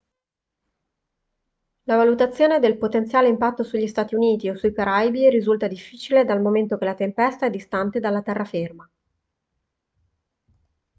la valutazione del potenziale impatto sugli stati uniti o sui caraibi risulta difficile dal momento che la tempesta è distante dalla terraferma